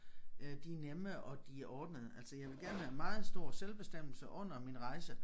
Øh de er nemme og de er ordnede altså jeg vil gerne være meget stor selvbestemmelse under min rejse